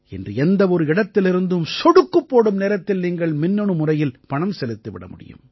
இன்று எந்த ஒரு இடத்திலிருந்தும் சொடுக்குப் போடும் நேரத்தில் நீங்கள் மின்னணு முறையில் பணம் செலுத்திவிட முடியும்